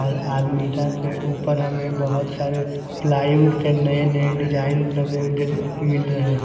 और आलमीरा के ऊपर हमें बहुत सारे प्लाईवुड के नए-नए डिजाइन लगे हुए मिल रहे हैं।